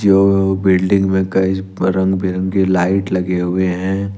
Building में कई रंग बिरंगी लाइट लगे हुए हैं।